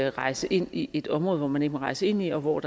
at rejse ind i et område som man ikke må rejse ind i og hvor